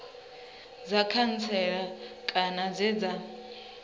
dza khantsela kana dze dza